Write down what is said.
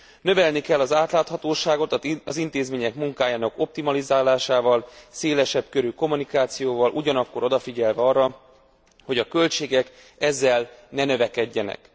Növelni kell az átláthatóságot az intézmények munkájának optimalizálásával, szélesebb körű kommunikációval, ugyanakkor odafigyelve arra, hogy a költségek ezzel ne növekedjenek.